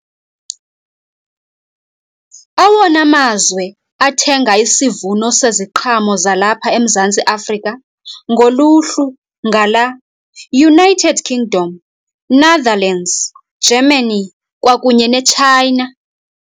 Awona mazwe athenga isivuno seziqhamo zalapha eMzantsi Afrika ngoluhlu ngala, United Kingdom, Netherlands, Germany kwakunye neChina.